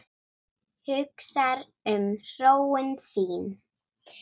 Hugsar um hróin sín.